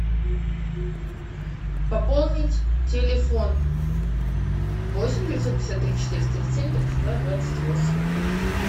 пополнить телефон восемь девятьсот пятьдесят три четыреста тридцать семь тридцать два двадцать восемь